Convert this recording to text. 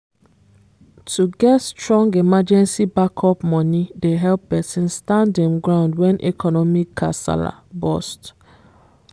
to get strong emergency backup money dey help person stand him ground when economic kasala burst.